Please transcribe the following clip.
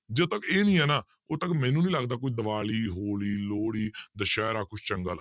ਜਦੋਂ ਤੱਕ ਇਹ ਨੀ ਹੈ ਨਾ ਉਦੋਂ ਤੱਕ ਮੈਨੂੰ ਨੀ ਲੱਗਦਾ ਕੋਈ ਦੀਵਾਲੀ, ਹੋਲੀ, ਲੋਹੜੀ ਦੁਸਹਿਰਾ ਕੁਛ ਚੰਗਾ,